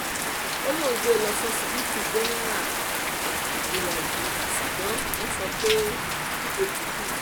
ó lóun gbé e lọ ṣíṣíbítù jẹ́nẹ́ra wúyàtì ṣùgbọ́n wọ́n sọ fóun pé ó ti kú